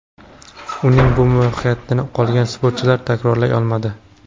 Uning bu muvaffaqiyatini qolgan sportchilar takrorlay olmadi.